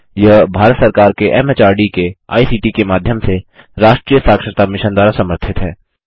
यह भारत सरकार के एमएचआरडी के आईसीटी के माध्यम से राष्ट्रीय साक्षरता मिशन द्वारा समर्थित है